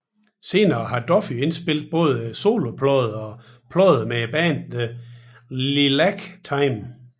Senere har Duffy indspillet både soloplader og plader med bandet The Lilac Time